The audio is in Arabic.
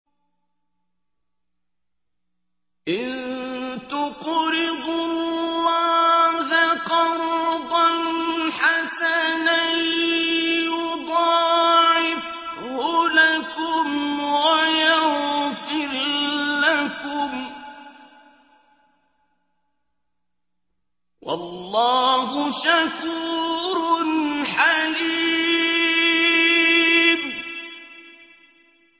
إِن تُقْرِضُوا اللَّهَ قَرْضًا حَسَنًا يُضَاعِفْهُ لَكُمْ وَيَغْفِرْ لَكُمْ ۚ وَاللَّهُ شَكُورٌ حَلِيمٌ